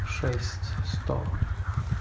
шесть сто